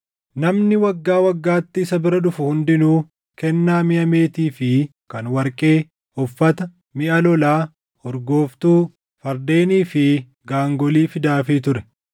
Namni waggaa waggaatti isa bira dhufu hundinuu kennaa miʼa meetii fi kan warqee, uffata, miʼa lolaa, urgooftuu, fardeenii fi gaangolii fidaafii ture.